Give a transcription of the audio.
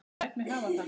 Ég læt mig hafa það.